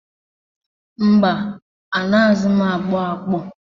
Mba, anaghịzi m agbọ agbọ.